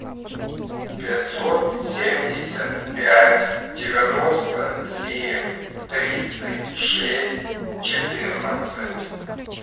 пятьсот семьдесят пять девяносто семь тридцать шесть четырнадцать